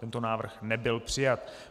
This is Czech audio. Tento návrh nebyl přijat.